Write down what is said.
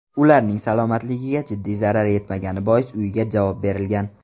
Ularning salomatligiga jiddiy zarar yetmagani bois uyiga javob berilgan.